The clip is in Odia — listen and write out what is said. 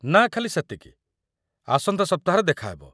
ନା, ଖାଲି ସେତିକି, ଆସନ୍ତା ସପ୍ତାହରେ ଦେଖା ହେବ ।